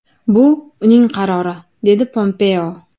Bu uning qarori”, dedi Pompeo.